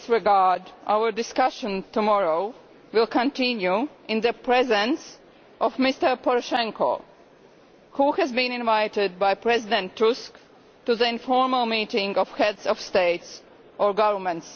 In this regard, our discussion tomorrow will continue in the presence of Mr Poroshenko, who has been invited by President Tusk to the informal meeting of Heads of State or Government.